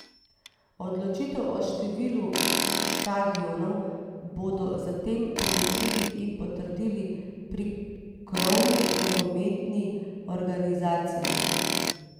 Odločitev o številu štadionov bodo zatem preučili in potrdili pri krovni nogometni organizaciji.